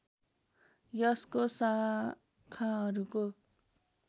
यसको शाखाहरूको